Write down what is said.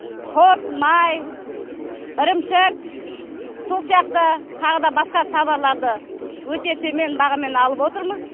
құрт май ірімшік сол сияқты тағы да басқа таварларды өте төмен бағамен алып отырмыз